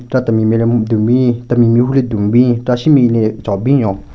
Chera temi nme le dun bin temi mehvu le dun bin chera shunbin ne chon binyon.